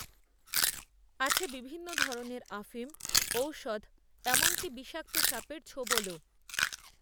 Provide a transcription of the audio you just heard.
আছে বিভিন্ন ধরনের আফিম ঔষধ এমনকী বিষাক্ত সাপের ছোবলও